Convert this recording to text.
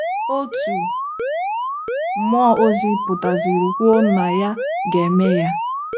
Otu mmụọ ozi pụtaziri kwuo na ya ga - eme ya.